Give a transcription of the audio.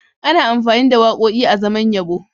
Ana amfani da waƙoƙi azaman yabo.